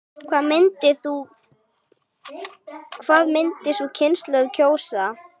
Hvað myndi sú kynslóð kjósa?